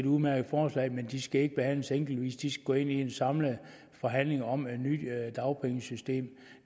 udmærkede forslag men de skal ikke behandles enkeltvis de skal gå ind i en samlet forhandling om et nyt dagpengesystem